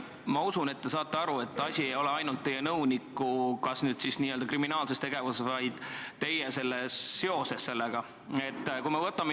Ma usun, et te saate aru, et asi ei ole ainult teie nõuniku n-ö kriminaalses tegevuses, vaid teie seoses sellega.